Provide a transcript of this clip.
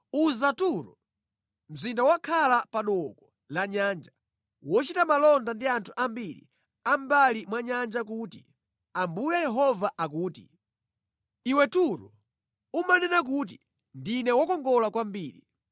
Uza Turo, mzinda wokhala pa dooko la nyanja, wochita malonda ndi anthu ambiri a mʼmbali mwa nyanja kuti: Ambuye Yehova akuti, “Iwe Turo, umanena kuti, ‘Ndine wokongola kwambiri.’